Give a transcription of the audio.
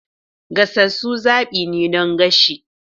Gasasu zaɓi ne don gasa.